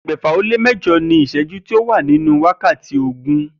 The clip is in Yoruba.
E̩gbè̩fà-ó-lé-mé̩jo̩ ìs̩é̩jú ló wà nínú wákàtí ogún